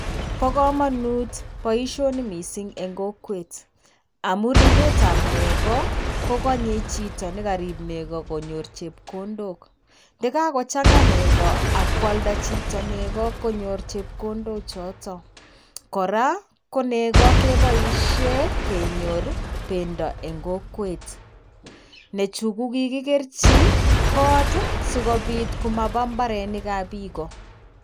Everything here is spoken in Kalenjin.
Bo komonut boisioni missing eng' kokwet. Amun riipetab negoo ko konyei chito nekariip nego konyor chepkondok. Ye kakochang'aa negoo akoalda chito negoo konyor chepkondok choto. Koraa, ko negoo keboishe kenyor pendoo en kokwet. Neechu kokikikerji koot sikobiit komapa mbarenikab biik.